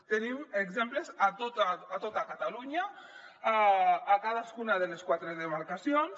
en tenim exemples a tota catalunya a cadascuna de les quatre demarcacions